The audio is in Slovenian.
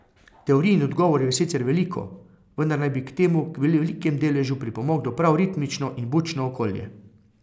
Teorij in odgovorov je sicer veliko, vendar naj bi k temu v velikem deležu pripomoglo prav ritmično in bučno okolje.